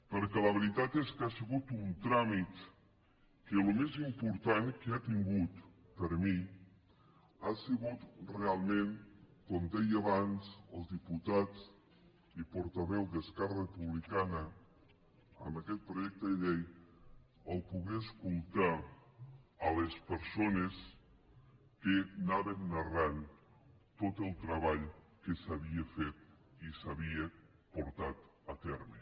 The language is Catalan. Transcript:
perquè la veritat és que ha sigut un tràmit que el més important que ha tingut per mi ha sigut realment com deia abans el diputat i portaveu d’esquerra republicana en aquest projecte de llei poder escoltar les persones que anaven narrant tot el treball que s’havia fet i s’havia portat a terme